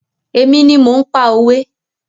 Èmi ni mò ń pa òwe.